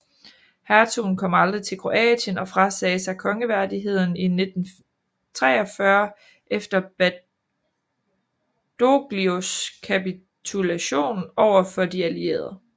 Hertugen kom aldrig til Kroatien og frasagde sig Kongeværdigheden i 1943 efter Badoglios kapitulation over for De Allierede